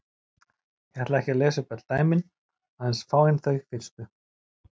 Ég ætla ekki að lesa upp öll dæmin, aðeins fáein þau fyrstu: